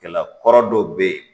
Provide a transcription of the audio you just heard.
Kɛla kɔrɔ dɔw be ye